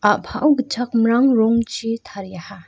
a·pao gitchak mrang rongchi tariaha.